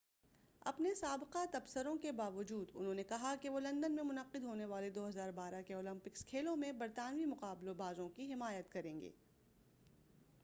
اپنے سابقہ تبصروں کے باوجود انہوں نے کہا کہ وہ لندن میں منعقد ہونے والے 2012 کے اولمپکس کھیلوں میں برطانوی مقابلہ بازوں کی حمایت کریں گے